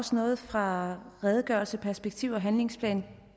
også noget fra redegørelseperspektiv og handlingsplan